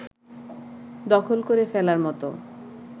দখল করে ফেলার মত